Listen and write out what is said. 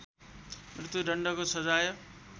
मत्यु दण्डको सजाय